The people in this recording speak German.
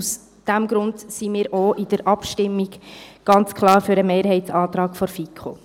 Aus diesem Grund sind wir auch in der Abstimmung ganz klar für den Mehrheitsantrag der FiKo.